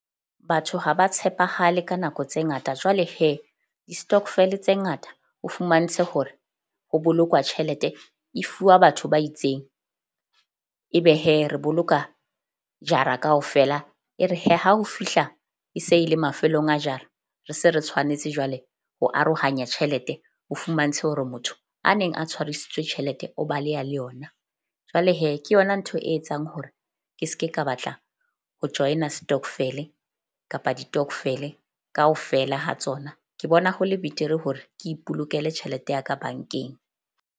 Batho ha ba tshepahale ka nako tse ngata, jwale di-stokvel-e tse ngata ho fumantshe hore ho bolokwa tjhelete. E fuwa batho ba itseng ebe re boloka jara kaofela. E re ha ho fihla, e se e le mafelong a jara. Re se re tshwanetse jwale ho arohanya tjhelete ho fumantshe hore motho a neng a tshwarisitswe tjhelete o baleha le yona. Jwale ke yona ntho e etsang hore ke ske ka batla ho join-a stokvel-e kapa ditokvele kaofela ha tsona. Ke bona ho le betere hore ke ipolokele tjhelete ya ka bank-eng.